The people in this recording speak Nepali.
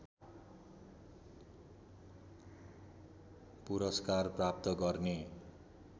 पुरस्कार प्राप्त गर्ने